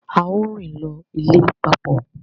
Ao rin lọ ilé papọ